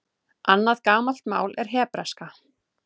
Annað gamalt mál er hebreska.